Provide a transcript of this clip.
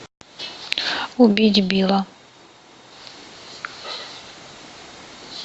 убить билла